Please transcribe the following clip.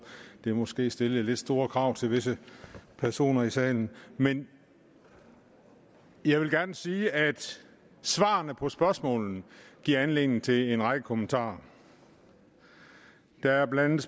det måske stillede lidt store krav til visse personer i salen men jeg vil gerne sige at svarene på spørgsmålene giver anledning til en række kommentarer der er blandt